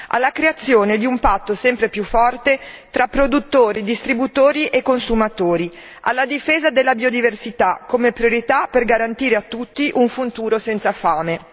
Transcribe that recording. alla creazione di un patto sempre più forte tra produttori, distributori e consumatori, alla difesa della biodiversità come priorità per garantire a tutti un futuro senza fame.